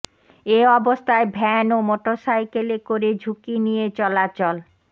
এ অবস্থায় ভ্যান ও মোটরসাইকেলে করে ঝুঁকি নিয়ে চলাচল